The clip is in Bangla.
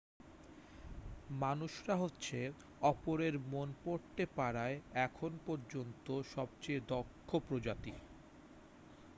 মানুষরা হচ্ছে অপরের মন পড়তে পারায় এখন পর্যন্ত সবচেয়ে দক্ষ প্রজাতি